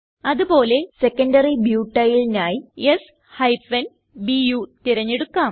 അത് പോലെ സെക്കൻഡറി Butylനായി s ബു തിരഞ്ഞെടുക്കാം